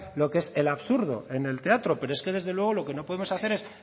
lo que es absurdo en el teatro pero es que desde luego no podemos hacer es